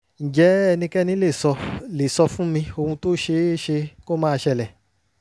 ǹjẹ́ ẹnikẹ́ni lè sọ lè sọ fún mi ohun tó ṣe é ṣe kó máa ṣẹlẹ̀?